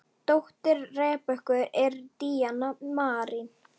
Dóttir Rebekku er Díana Marín.